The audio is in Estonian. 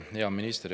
Hea minister!